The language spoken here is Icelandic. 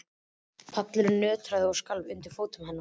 Pallurinn nötraði og skalf undir fótum hennar.